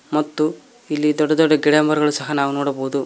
ಮತ್ತು ಇಲ್ಲಿ ದೊಡ್ಡ ದೊಡ್ದ ಗಿಡ ಮರಗಳು ಸಹ ನಾವ್ ನೋಡಬೋದು.